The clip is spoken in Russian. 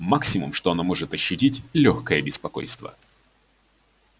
максимум что она может ощутить лёгкое беспокойство